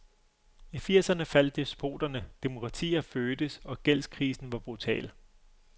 I firserne faldt despoterne, demokratier fødtes og gældskrisen var brutal.